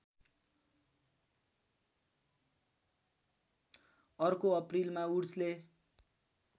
अर्को अप्रिलमा वुड्सले